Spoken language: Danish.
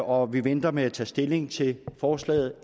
og vi venter med at tage stilling til forslaget